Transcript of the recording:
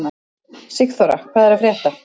Sigþóra, hvað er að frétta?